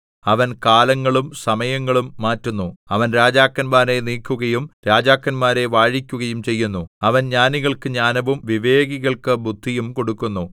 അവൻ കാലങ്ങളും സമയങ്ങളും മാറ്റുന്നു അവൻ രാജാക്കന്മാരെ നീക്കുകയും രാജാക്കന്മാരെ വാഴിക്കുകയും ചെയ്യുന്നു അവൻ ജ്ഞാനികൾക്കു ജ്ഞാനവും വിവേകികൾക്കു ബുദ്ധിയും കൊടുക്കുന്നു